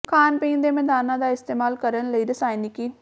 ਖਾਣ ਪੀਣ ਦੇ ਮੈਦਾਨਾਂ ਦਾ ਇਸਤੇਮਾਲ ਕਰਨ ਲਈ ਰਸਾਇਣਿਕੀ